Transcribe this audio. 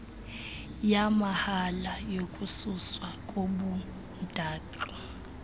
yamahala yokususwa kobumdaka